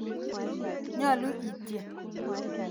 Nyalu ityen.